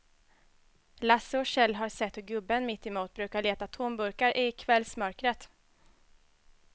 Lasse och Kjell har sett hur gubben mittemot brukar leta tomburkar i kvällsmörkret.